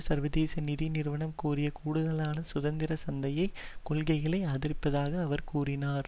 சர்வதேச நிதி நிறுவனம் கோரிய கூடுதலான சுதந்திர சந்தை கொள்கைகளை ஆதரிப்பதாக அவர் கூறினார்